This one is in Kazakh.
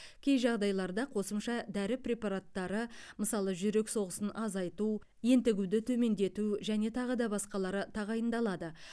кей жағдайларда қосымша дәрі препараттары мысалы жүрек соғысын азайту ентігуді төмендету және тағы да басқалары тағайындалады